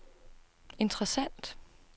interessant